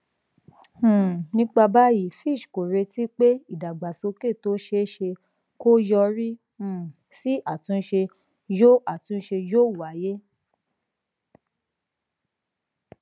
um nípa báyìí fitch kò retí pé ìdàgbàsókè tó ṣeé ṣe kó yọrí um sí àtúnṣe yóò àtúnṣe yóò wáyé